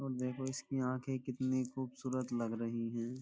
और देखो इसकी आंखें कितनी खूबसूरत लग रही हैं।